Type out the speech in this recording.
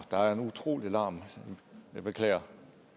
der er en utrolig larm jeg beklager